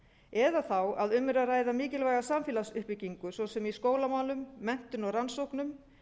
eða þá að um er að ræða samfélagslega uppbygginu svo sem í skólamálum menntun og rannsóknum